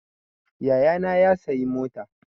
Yayana ya sayi mota